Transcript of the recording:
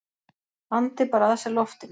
Andi bara að sér loftinu.